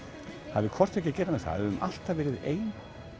hafi hvort tveggja að gera með það höfum alltaf verið ein